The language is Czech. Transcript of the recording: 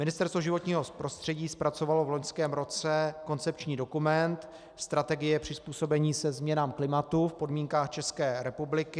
Ministerstvo životního prostředí zpracovalo v loňském roce koncepční dokument Strategie přizpůsobení se změnám klimatu v podmínkách České republiky.